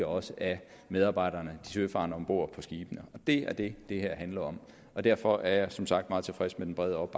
også af medarbejderne de søfarende om bord på skibene det er det det her handler om og derfor er jeg som sagt meget tilfreds med den brede